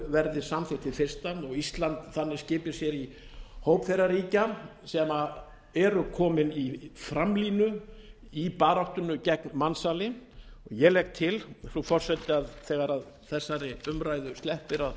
verði samþykkt hið fyrsta og íslandi skipi sér þannig í hóp þeirra ríkja sem eru komin í framlínu í baráttunni gegn mansali ég legg til frú forseti að þegar þessari umræðu sleppir